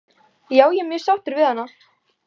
Já ég er mjög sáttur við hana.